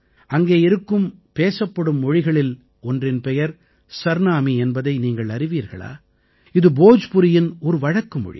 அங்கே இருக்கும் பேசப்படும் மொழிகளில் ஒன்றின் பெயர் சர்நாமீ என்பதை நீங்கள் அறிவீர்களா இது போஜ்புரியின் ஒரு வழக்குமொழி